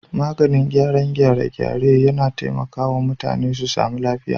Maganin gyaran gyare-gyare yAna taimaka wa mutane su samu lafiya